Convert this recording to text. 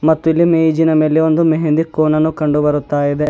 ಮತ್ತು ಇಲ್ಲಿ ಮೇಜಿನ ಮೇಲೆ ಒಂದು ಮೆಹಂದಿ ಕೋನನ್ನು ಕಂಡು ಬರುತ್ತಾ ಇದೆ.